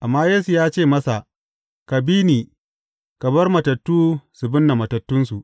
Amma Yesu ya ce masa, Ka bi ni, ka bar matattu su binne matattunsu.